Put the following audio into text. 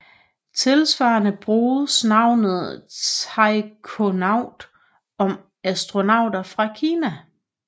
Tilsvarende bruges navnet taikonaut om astronauter fra Kina